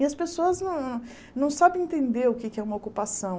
E as pessoas não não sabem entender o que é que é uma ocupação.